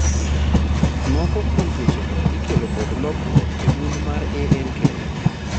Moko kuom tuoche go ikelo kod lokruok e gund mar ALK